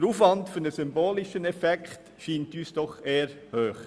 Der Aufwand für einen symbolischen Effekt erscheint uns doch eher hoch.